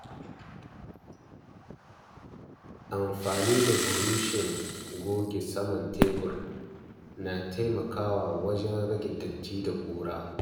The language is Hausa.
Amfani da buroshin goge saman tebur na taimakawa wajen rage datti da ƙura.